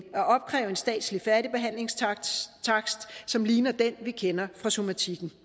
at opkræve en statslig færdigbehandlingstakst som ligner den vi kender fra somatikken